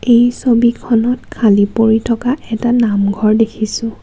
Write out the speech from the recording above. এই ছবিখনত খালী পৰি থকা এটা নামঘৰ দেখিছোঁ.